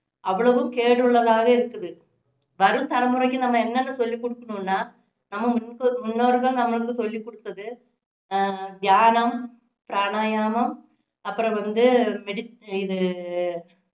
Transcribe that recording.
அவ்வளவும் கேடு உள்ளதாவே இருக்குது வரும் தலைமுறைக்கு நாம என்னன்னு சொல்லி குடுக்கணும்னா நம்ம முங்கொ~ முன்னோர்கள் நம்மளுக்கு சொல்லி கொடுத்தது அஹ் தியானம் பிரணயாமம் அப்பறம் வந்து மெடி இது